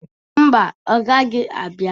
Mba, ọ gaghị abia.